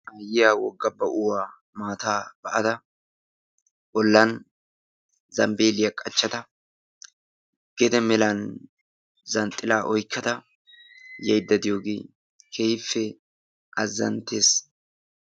Aayiyaa wogga ba7uwa maataa ba7ada bollan zambbiiliya qachchada gede melan zanxxilaa oyqqada yayidda de7iyooge keehippe azzanttes.